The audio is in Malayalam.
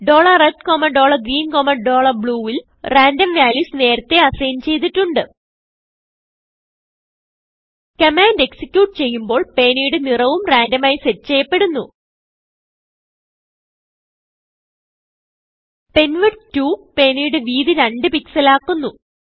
red greenblue ൽ റാൻഡം valuesനേരത്തെ assignചെയ്തിട്ടുണ്ട് കമാൻഡ് എക്സിക്യൂട്ട് ചെയ്യുമ്പോൾ പേനയുടെ നിറവും റാൻഡം ആയി സെറ്റ് ചെയ്യപ്പെടുന്നു പെൻവിഡ്ത് 2പേനയുടെ വീതി 2 pixelആക്കുന്നു